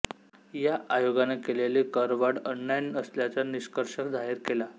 या आयोगाने केलेली करवाढ अन्याय्य असल्याचा निष्कर्ष जाहीर केला